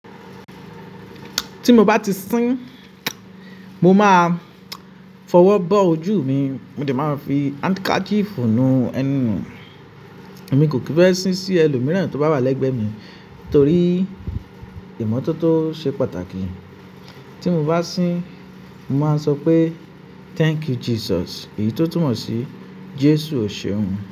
Ti mo ba ti sín, mo ma fọwọ́ bọ́ ojú mi, mo sì máa fi handkerchief ny ẹnu nu. Èmi kò kí fẹ́ sín sí ẹlòmíràn tó bá wà lẹ́gbẹ̀ẹ́ mi nítorí ìmọ́tótó ṣe pàtàkì. Ti mo bá sín, mo máa sọ pé "Thank you Jesus," èyí tó túmọ̀ sí Jésù Ò ṣeun.